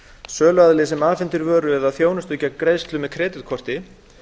söluaðili sem afhendir vöru eða þjónustu gegn greiðslu með kreditkorti